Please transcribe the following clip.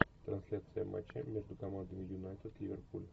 трансляция матча между командами юнайтед ливерпуль